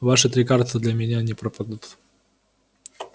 ваши три карты для меня не пропадут